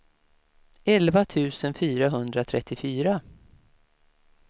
elva tusen fyrahundratrettiofyra